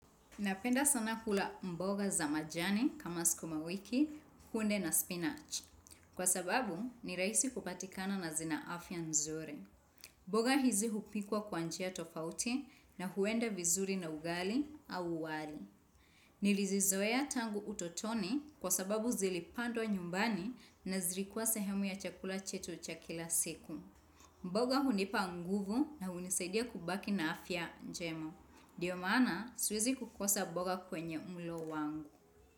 Napenda sana kula mboga za majani kama sukuma wiki, kunde na spinach. Kwa sababu ni rahisi kupatikana na zina afya nzuri. Mboga hizi hupikwa kwa njia tofauti na huenda vizuri na ugali au wali. Nilizizoea tangu utotoni kwa sababu zilipandwa nyumbani na zilikuwa sehemu ya chakula chetu cha kila siku. Mboga hunipa nguvu na hunisaidia kubaki na afya njema. Ndiyo maana siwezi kukosa mboga kwenye mlo wangu.